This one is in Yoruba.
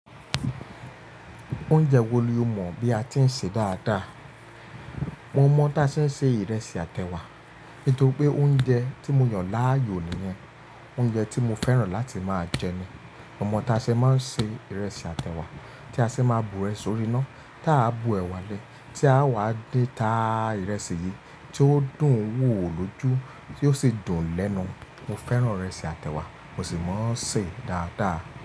Oúnjẹ wo ni o mọ̀ bí a ti ń ṣe dáadáa? Mo mọ̀ ta ń se ìrẹsì àtẹwa. Nítorí pé oúnjẹ tí mo yàn láàyò nìyẹn. Oúnjẹ tí mo fẹ́ràn láti máa jẹ ní. Mo mọ̀ ta se maa ń se ìrẹsì àtẹwa tí a ṣe máa bu rẹ̀ sórí iná. Tí a bu ẹ̀wá lẹ̀, tí a wá din ta ìrẹsì yìí, tí ó dùn wò lójú, tí ó sì dùn lẹ́nu. Mo fẹ́ràn ìrẹsì àtẹwa, mo sì mọ̀ ṣe dáadáa.